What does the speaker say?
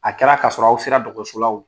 A kɛra ka sɔrɔ aw sera dɔgɔtɔrɔsola wo